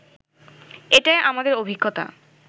এটাই আমাদের অভিজ্ঞতা